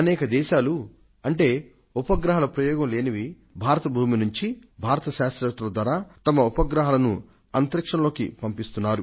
అనేక ఇతర దేశాల ఉపగ్రహాలను భారతదేశ భూమి మీది నుంచి భారత శాస్త్రవేత్తలు ప్రయోగించగా అవి అంతరిక్షంలోకి చేరుకొన్నాయి